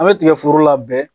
An bɛ tigɛforo labɛn